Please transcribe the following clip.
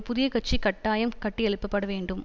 புதிய கட்சி கட்டாயம் கட்டி எழுப்பப்படவேண்டும்